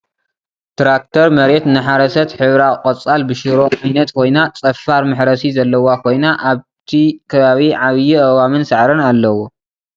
ትራክተር መሬት እናሓረሰት ሕብራ ቆፃል ብ ሽሮ ዓይነት ኮይና ፀፋር መሕረሲ ዘለዋ ኮይና ኣብቲ ክባቢ ዓብይ ኣእዋምን ሳዕርን ኣለዉዋ ።